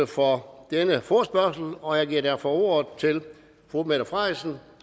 for denne forespørgsel og jeg giver derfor ordet til fru mette frederiksen